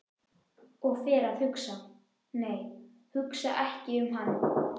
Og fer að hugsa- nei, hugsa ekki um hann!